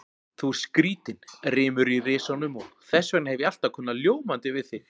Þú ert skrýtinn, rymur í risanum og þessvegna hef ég alltaf kunnað ljómandi við þig.